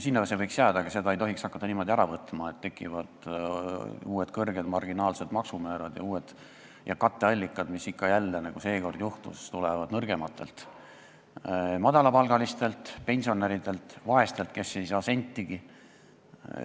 Sinna see võiks jääda, aga seda ei tohiks hakata niimoodi ära võtma, et tekivad uued kõrged marginaalsed maksumäärad ja uued katteallikad, mis ikka ja jälle, nii nagu seekord juhtus, tulevad nõrgemate arvel, madalapalgaliste, pensionäride, vaeste arvel, kes ei saa sentigi.